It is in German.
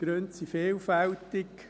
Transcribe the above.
Die Gründe sind vielfältig.